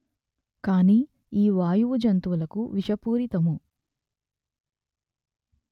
కానీ ఈ వాయువు జంతువులకు విషపూరితము